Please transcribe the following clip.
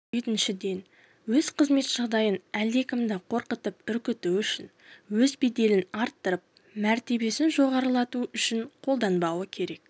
жетіншіден өз қызмет жағдайын әлдекімді қорқытып-үркіту үшін өз беделін арттырып мәртебесін жоғарылату үшін қолданбауы керек